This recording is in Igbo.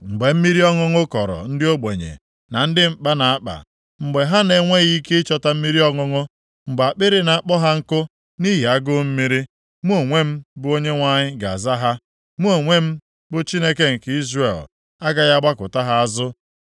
“Mgbe mmiri ọṅụṅụ kọrọ ndị ogbenye na ndị mkpa na-akpa, mgbe ha na-enweghị ike ịchọta mmiri ọṅụṅụ mgbe akpịrị na-akpọ ha nkụ nʼihi agụụ mmiri, mụ onwe m bụ Onyenwe anyị ga-aza ha. Mụ onwe m, bụ Chineke nke Izrel, agaghị agbakụta ha azụ.